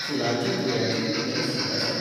फुलांच्या तुऱ्यांचेर कितेंय सूट आसा ?